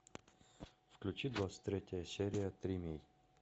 включи двадцать третья серия тримей